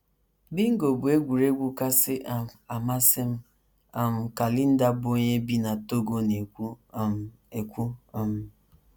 “ Bingo bụ egwuregwu kasị um amasị m, ” um ka Linda, bụ́ onye bi n’Togona - ekwu um. ekwu um.